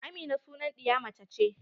Amina sunan ɗiya mace ce.